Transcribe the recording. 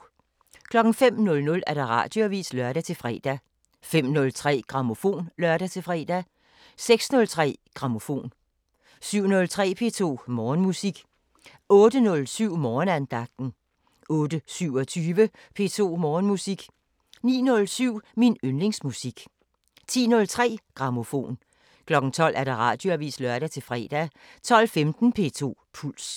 05:00: Radioavisen (lør-fre) 05:03: Grammofon (lør-fre) 06:03: Grammofon 07:03: P2 Morgenmusik 08:07: Morgenandagten 08:27: P2 Morgenmusik 09:07: Min yndlingsmusik 10:03: Grammofon 12:00: Radioavisen (lør-fre) 12:15: P2 Puls